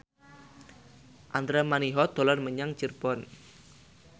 Andra Manihot dolan menyang Cirebon